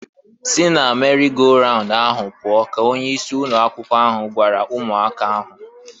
"Si na meri go raun ahụ pụọ!" ka onye isi ụnọ akwụkwọ ahụ gwara ụmụaka ahụ.